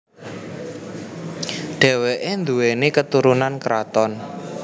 Dheweke nduweni keturunan kraton